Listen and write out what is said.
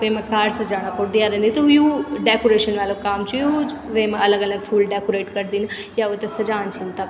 वेमा कार से जाणा पुडद डयारा नि त यु डेकोरेशन वालू काम च यु वेमा अलग अलग फूल डेकोरेट करदिन या वेते सजाण छिन तब।